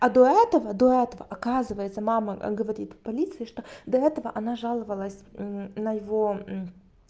а до этого до этого оказывается мама говорит полиции что до этого она жаловалась на его